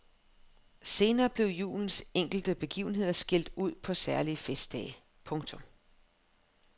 Senere blev julens enkelte begivenheder skilt ud på særlige festdage. punktum